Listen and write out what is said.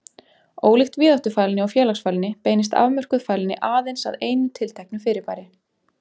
Ólíkt víðáttufælni og félagsfælni beinist afmörkuð fælni aðeins að einu tilteknu fyrirbæri.